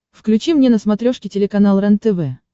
включи мне на смотрешке телеканал рентв